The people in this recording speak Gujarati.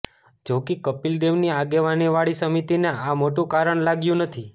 જોકે કપિલ દેવની આગેવાનીવાળી સમિતિને આ મોટું કારણ લાગ્યું નથી